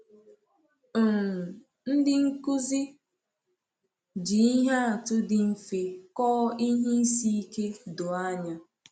um Ndị nkuzi ji ihe atụ dị mfe kọọ ihe isi ike doo anya.